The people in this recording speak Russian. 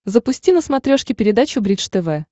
запусти на смотрешке передачу бридж тв